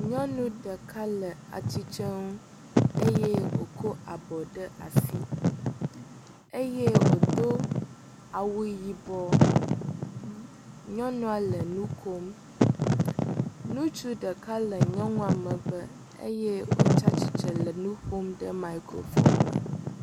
Nyɔnu ɖeka le atitrenu eye wokɔ abɔ ɖe asi eye wodo awu yibɔ, nyɔnua le nukom. Ŋutsu ɖeka le nyɔnua megbe eye wotsatsitsre le nuƒom de microphone me.